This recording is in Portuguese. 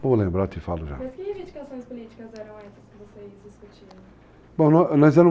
Vou lembrar e te falo já. Mas que reivindicações políticas eram essas que vocês discutiram? Bom, nós